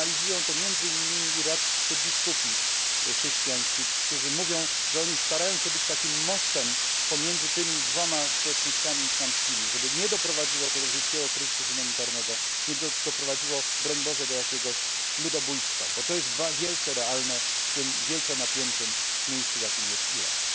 Sygnalizują to między innymi iraccy biskupi chrześcijańscy, którzy mówią, że starają się być takim mostem pomiędzy tymi dwoma społecznościami islamskimi, żeby nie doprowadziło to do wielkiego kryzysu humanitarnego, nie doprowadziło, broń Boże, do jakiegoś ludobójstwa, bo to jest wielce realne w tym wielce napiętym miejscu, jakim jest Irak.